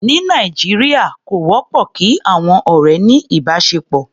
Ní Nàìjíríà, kò wọ́pọ̀ kí àọn ọ̀rẹ́ ní ìbáṣepọ̀.